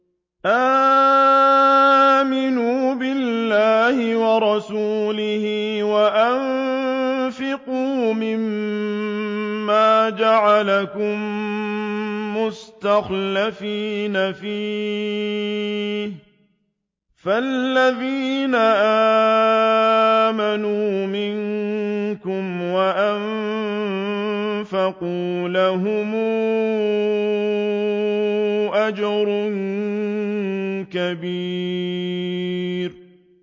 آمِنُوا بِاللَّهِ وَرَسُولِهِ وَأَنفِقُوا مِمَّا جَعَلَكُم مُّسْتَخْلَفِينَ فِيهِ ۖ فَالَّذِينَ آمَنُوا مِنكُمْ وَأَنفَقُوا لَهُمْ أَجْرٌ كَبِيرٌ